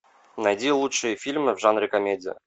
найди лучшие фильмы в жанре комедия